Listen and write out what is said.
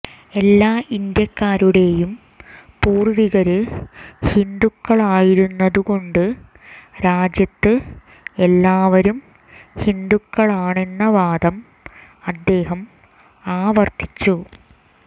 എല്ലാ ഇന്ത്യക്കാരുടെയും പൂര്വ്വികര് ഹിന്ദുക്കളായിരുന്നതു കൊണ്ട് രാജ്യത്ത് എല്ലാവരും ഹിന്ദുക്കളാണെന്ന വാദം അദ്ദേഹം ആവര്ത്തിച്ചു